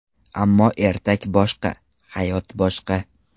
Ammo ertak boshqa, hayot boshqa.